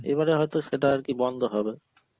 এবারে হয়তো সেটা আর কি বন্ধ হবে